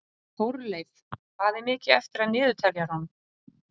Þórleif, hvað er mikið eftir af niðurteljaranum?